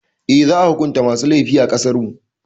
Eh, za a hukunta masu laifi a ƙasarmu.